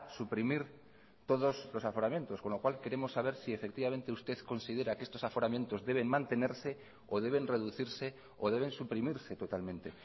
suprimir todos los aforamientos con lo cual queremos saber si efectivamente usted considera que estos aforamientos deben mantenerse o deben reducirse o deben suprimirse totalmente